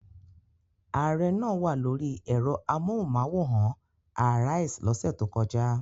Ààrẹ náà wà lórí ẹ̀rọ amóhùmáwòhán Arise lọ́sẹ̀ tó kọjá.